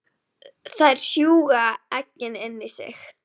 Þær sjúga eggin inn í sig.